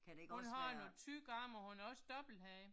Hun har nogle tykke arme og hun har også dobbelthage